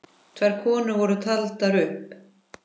Tvær konur voru taldar upp.